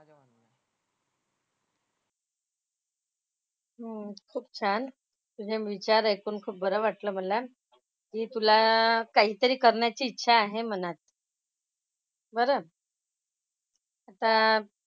हो खूप छान. तुझे विचार ऐकून खूप बरं वाटलं मला की तुला काहीतरी करण्याची इच्छा आहे मनात. बरं. आता,